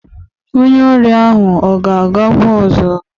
Onye ọrịa ahụ ọ ga-agakwa ọzọ?